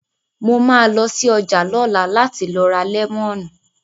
Mo ma lọ sí ọjà lọ́la láti lọ ra lẹ́mọ̀nù